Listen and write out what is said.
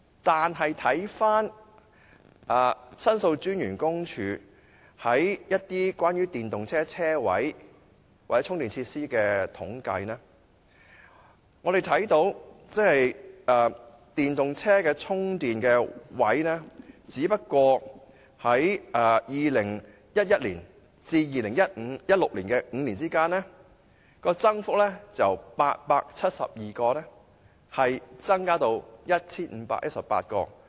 相比之下，根據申訴專員公署有關電動車車位或充電設施的統計，本港電動車充電器的數目僅在2011年至2016年的5年間，由872個增至 1,518 個。